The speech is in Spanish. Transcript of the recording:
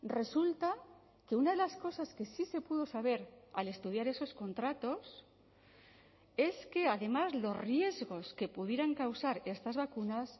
resulta que una de las cosas que sí se pudo saber al estudiar esos contratos es que además los riesgos que pudieran causar estas vacunas